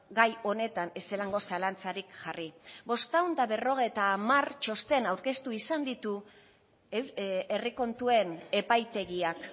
gai honetan ezelango zalantzarik jarri bostehun eta berrogeita hamar txosten aurkeztu izan ditu herri kontuen epaitegiak